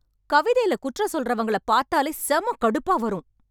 கவிதையில குற்றம் சொல்றவங்கள பார்த்தாலே செம கடுப்பா வரும்.